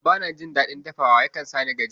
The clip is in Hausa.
A'a bana jin daɗin dafawa, yakan sani gajiya